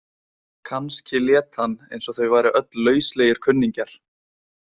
Kannski lét hann eins og þau væru öll lauslegir kunningjar.